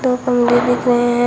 और कमरे दिख रहे हैं।